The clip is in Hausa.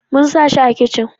Mun sa shi a kicin